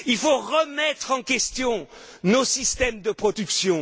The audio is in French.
Il faut remettre en question nos systèmes de production.